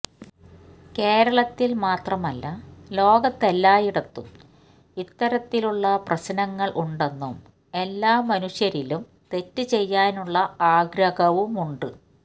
കേരളത്തില് മാത്രല്ല ലോകത്ത് എല്ലായിടത്തും ഇത്തരത്തിലുള്ള പ്രശനങ്ങള് ഉണ്ടെന്നും എല്ലാ മനുഷ്യരിലും തെറ്റ് ചെയ്യാനുള്ള ആഗ്രഹവുമുണ്ട്